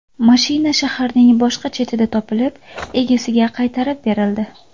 Mashina shaharning boshqa chetida topilib, egasiga qaytarib berildi.